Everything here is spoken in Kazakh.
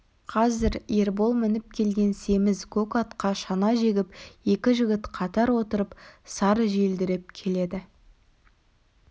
қазір ербол мініп келген семіз көк атқа шана жегіп екі жігіт қатар отырып сар желдіріп келеді